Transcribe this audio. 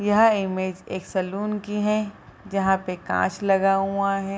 यह इमेंज एक सैलून की है जहाँ पे काँच लगा हुआ है।